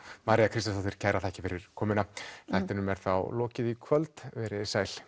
María Kristjánsdóttir kærar þakkir fyrir komuna þættinum er þá lokið í kvöld verið þið sæl